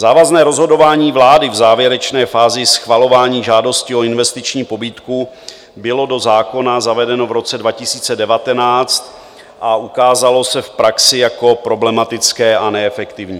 Závazné rozhodování vlády v závěrečné fázi schvalování žádosti o investiční pobídku bylo do zákona zavedeno v roce 2019 a ukázalo se v praxi jako problematické a neefektivní.